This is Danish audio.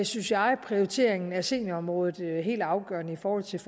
synes jeg er prioriteringen af seniorområdet helt afgørende i forhold til